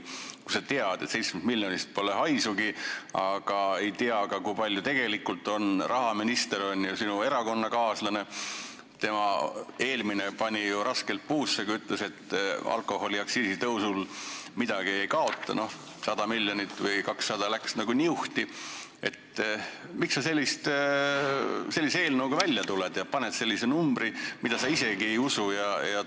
Kui sa tead, et 7 miljonist pole haisugi, aga ei tea, kui palju seda raha tegelikult on – rahaminister on sinu erakonnakaaslane, eelmine pani ju raskelt puusse, kui ütles, et alkoholiaktsiisi tõusuga me midagi ei kaota, aga no 100 või 200 miljonit läks nagu niuhti –, siis miks sa sellise eelnõuga välja tuled ja paned kirja sellise numbri, mida sa isegi ei usu?